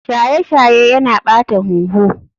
Shaye shaye Yana ɓata huhu.